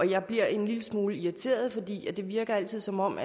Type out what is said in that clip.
jeg bliver en lille smule irriteret for det det virker altid som om